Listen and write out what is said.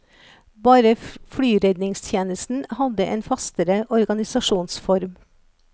Bare flyredningstjenesten hadde en fastere organisasjonsform.